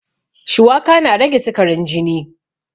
Shuwaka na rage sikarin jini